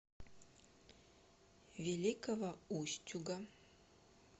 великого устюга